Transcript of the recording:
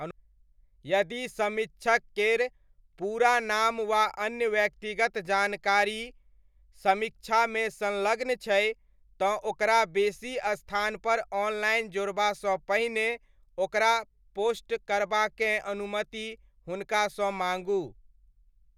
यदि समीक्षक केर पूरा नाम वा अन्य व्यक्तिगत जानकारी समीक्षामे संलग्न छै, तँ ओकरा बेसी स्थानपर ऑनलाइन जोड़बासँ पहिने ओकरा पोस्ट करबाकेँ अनुमति हुनका सँ माँगू।